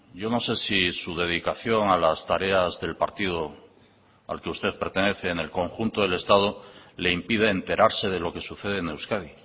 yo no sé si su dedicación a las tareas del partido al que usted pertenece en el conjunto del estado le impide enterarse de lo que sucede en euskadi